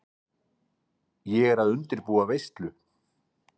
Ég er að undirbúa veislu.